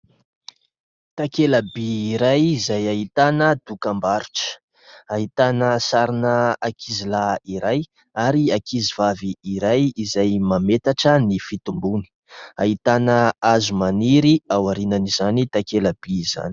Takela-by iray izay ahitana dokam-barotra. Ahitana sarina ankizilahy iray ary ankizivavy iray izay mametatra ny fitomboany. Ahitana hazo maniry ao aorian'izany takela-by izany.